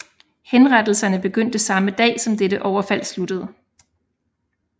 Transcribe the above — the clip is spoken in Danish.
Henrettelserne begyndte samme dag som dette overfald sluttede